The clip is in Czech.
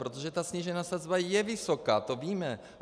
Protože ta snížená sazba je vysoká, to víme.